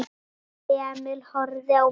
Emil horfði á mömmu sína.